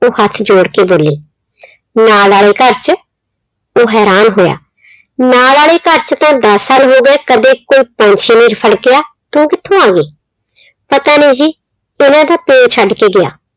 ਉਹ ਹੱਥ ਜੋੜ ਕੇ ਬੋਲੀ, ਨਾਲ ਆਲੇ ਘਰ ਚ, ਉਹ ਹੈਰਾਨ ਹੋਇਆ, ਨਾਲ ਆਲੇ ਘਰ ਚ ਤਾਂ ਦਸ ਸਾਲ ਹੋਗੇ ਕਦੇ ਕੋਈ ਪੰਛੀ ਨਹੀਂ ਫੜਕਿਆ, ਤੇ ਉਹ ਕਿਥੋਂ ਆ ਗਈ? ਪਤਾ ਨਹੀਂ ਕਹਿੰਦੇ ਉਹਦਾ ਪਿਉ ਛੱਡ ਕੇ ਗਿਆ।